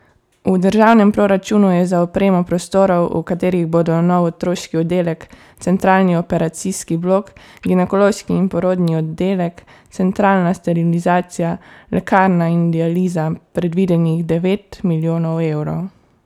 V državnem proračunu je za opremo prostorov, v katerih bodo nov otroški oddelek, centralni operacijski blok, ginekološki in porodni oddelek, centralna sterilizacija, lekarna in dializa, predvidenih devet milijonov evrov.